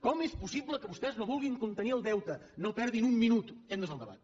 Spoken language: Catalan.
com és possible que vostès no vulguin contenir el deute no perdin un minut aquest no és el debat